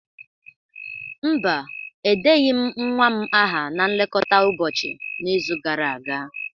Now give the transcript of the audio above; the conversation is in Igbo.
Mba, edeghị m nwa m aha na nlekọta ụbọchị n'izu gara aga